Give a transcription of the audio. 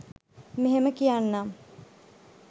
මෙහෙම කියන්නම්.